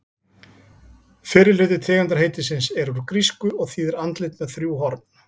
Fyrri hluti tegundarheitisins er úr grísku og þýðir andlit með þrjú horn.